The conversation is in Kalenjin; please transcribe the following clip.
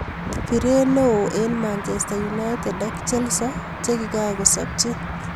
Pirey neo eng Manchester united ak Chelsea chekikako sabchi